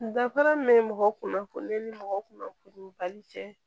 Danfara min bɛ mɔgɔ kunnafoni ni mɔgɔ kunnafoni bali cɛ